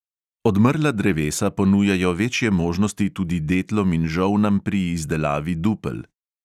Odmrla drevesa ponujajo večje možnosti tudi detlom in žolnam pri izdelavi dupel.